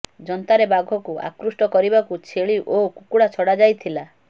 ଯନ୍ତାରେ ବାଘକୁ ଆକୃଷ୍ଟ କରିବାକୁ ଛେଳି ଓ କୁକୁଡା ଛଡ଼ାଯାଇଥିଲା